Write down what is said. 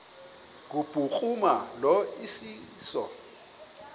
kubhuruma lo iseso